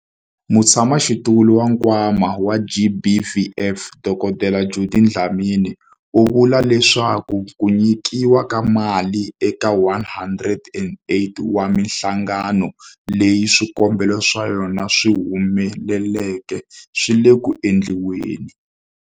Mutshamaxitulu wa Nkwama wa GBVF, Dkd Judy Dlamini, u vule leswaku ku nyikiwa ka mali eka 108 wa mihlangano leyi swikombelo swa yona swi humeleleke swi le ku endliweni.